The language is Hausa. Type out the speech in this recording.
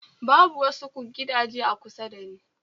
Babu wasu gidaje a kusa da ni